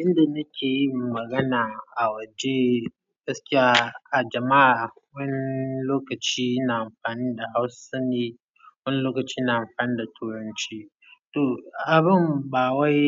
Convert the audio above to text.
Inda nake yi magana a waje, gaskiya a jama'a, wani lokaci ina amfani da Hausa ne, wani lokaci na amfani da Turanci. To abin ba wai